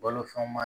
Balo fɛnw ma